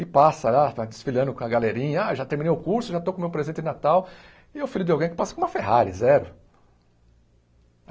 E passa lá, fa desfilando com a galerinha, ah já terminei o curso, já estou com o meu presente de Natal, e o filho de alguém que passa com uma Ferrari, zero.